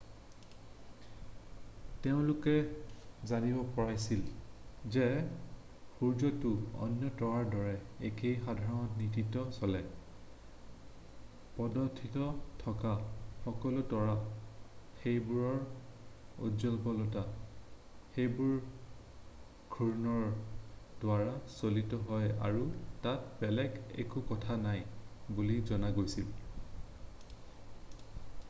তেওঁলোকে জানিব পাৰিছিল যে সূৰ্যটো অন্য তৰাৰ দৰে একেই সাধাৰণ নীতিত চলে পদ্ধতিটোত থকা সকলো তৰা সেইবোৰৰ উজ্জ্বলতা সেইবোৰৰ ঘূৰ্ণনৰ দ্বাৰা চালিত হয় আৰু তাত বেলেগ একো কথা নাই বুলি জনা গৈছিল